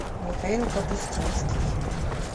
михаил капустинский